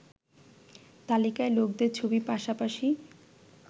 তালিকায় লোকদের ছবির পাশাপাশি